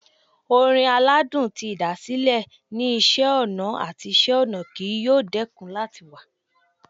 Orin aladun ti ĭdàsĭlẹ ni Iṣẹ ọna ati Iṣẹ-ọnà kii yoo dẹkun lati wa